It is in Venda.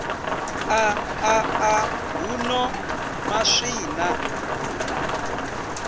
a a ḓaḓa huno maswina